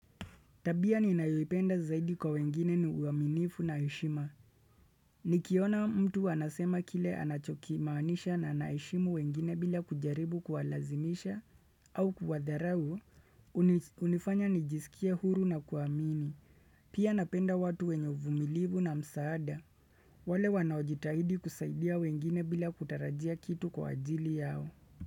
Tabia ninayoipenda zaidi kwa wengine ni uaminifu na heshima. Nikiona mtu anasema kile anachokimaniisha na anaheshimu wengine bila kujaribu kuwalazimisha au kuwadharau, unifanya nijisikie huru na kuamini. Pia napenda watu wenye uvumilivu na msaada. Wale wanaojitahidi kusaidia wengine bila kutarajia kitu kwa ajili yao.